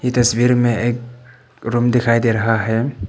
तस्वीर में एक रूम दिखाई दे रहा है।